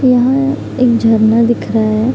यहाँ एक झरना दिख रहा है।